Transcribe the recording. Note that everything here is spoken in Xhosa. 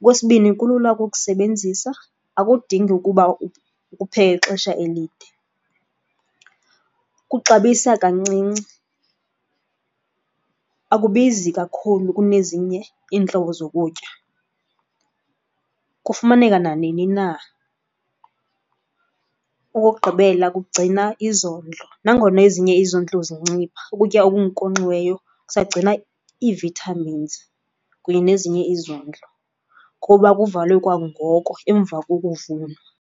Okwesibini kulula ukukusebenzisa, akudingi ukuba ukupheke ixesha elide. Kuxabisa kancinci, akubizi kakhulu kunezinye iintlobo zokutya. Kufumaneka nanini na. Okokugqibela kugcina izondlo. Nangona ezinye izondlo zincipha, ukutya okunkonkxiweyo kusagcina ii-vitamins kunye nezinye izondlo kuba kuvalwe kwangoko emva kokuvunwa.